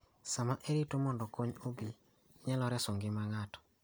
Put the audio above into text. Saa ma irito mondo kony obi, inyalo reso ngima ng�ato.